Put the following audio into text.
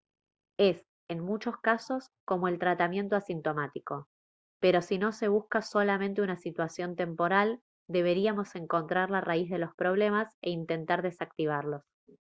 es en muchos casos como el tratamiento asintomático pero si no se busca solamente una situación temporal deberíamos encontrar la raíz de los problemas e intentar desactivarlos